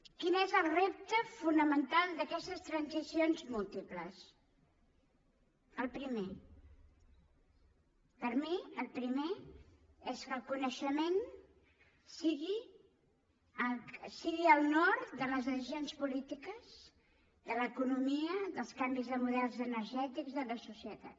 quin és el repte fonamental d’aquestes transicions múltiples el primer per mi el primer és que el coneixement sigui el nord de les decisions polítiques de l’economia dels canvis de models energètics de la societat